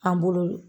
An bolo